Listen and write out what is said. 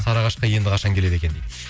сарыағашқа енді қашан келеді екен дейді